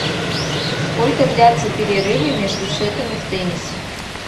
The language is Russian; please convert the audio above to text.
сколько длятся перерывы между сетами в теннисе